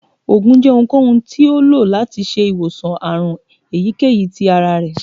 oògùn jẹ ohunkohun ti o lo lati ṣe iwosan àrùn eyikeyí tí àrá rẹ